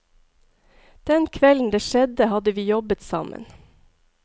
Den kvelden det skjedde, hadde vi jobbet sammen.